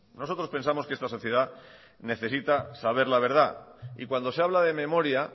nosotros pensamos que esta sociedad necesita saber la verdad y cuando se habla de memoria